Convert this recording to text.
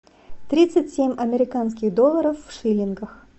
тридцать семь американских долларов в шиллингах